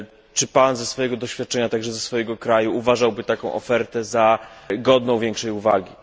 Czy Pan ze swojego doświadczenia, a także ze swojego kraju, uważałby taką ofertę za godną większej uwagi?